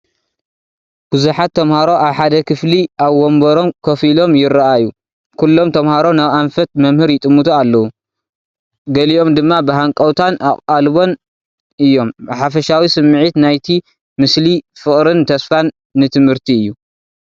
ብዙሓት ተማሃሮ ኣብ ሓደ ክፍሊ ኣብ ወንበሮም ኮፍ ኢሎም ይረኣዩ። ኩሎም ተምሃሮ ናብ ኣንፈት መምህር ይጥምቱ ኣለዉ። ገሊኦም ድማ ብሃንቀውታን ኣቓልቦን እዮም። ብሓፈሻ ስሚዒት ናይቲ ምስሊ ፍቕርን ተስፋን ንትምህርቲ እዩ።